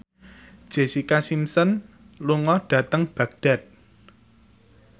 Jessica Simpson lunga dhateng Baghdad